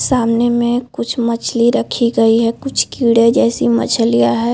सामने में कुछ मछली रखी गयी है कुछ कीड़े जैसी मछलियाँ हैं ।